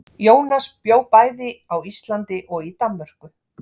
Jónas bjó bæði á Íslandi og í Danmörku.